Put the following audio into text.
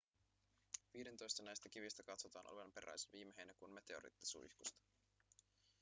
viidentoista näistä kivistä katsotaan olevan peräisin viime heinäkuun meteoriittisuihkusta